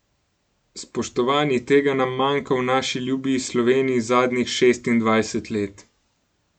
Spoštovani, tega nam manjka v naši ljubi Sloveniji zadnjih šestindvajset let.